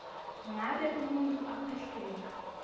ngabe umuntfu akhwehlela